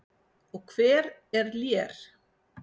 Og hver er Lér?